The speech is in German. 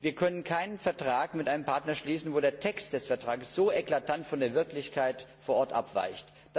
Wir können keinen Vertrag mit einem Partner schließen, bei dem der Text des Vertrags so eklatant von der Wirklichkeit vor Ort abweicht.